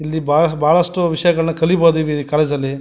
ಇಲ್ಲಿ ಬಹಳಷ್ಟು ವಿಷಯಗಳನ್ನು ಕಲಿಯಬಹುದು ಈ ಕಾಲೇಜು ಅಲ್ಲಿ.